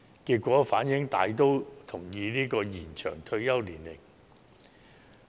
結果反映受訪者大都同意延展退休年齡。